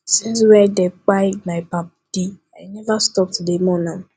since wey dem kpai my paddy i neva stop to dey mourn am